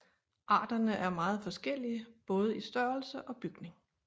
Arterne er meget forskellige både i størrelse og bygning